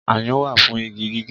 Ayùn wá fún igi gígé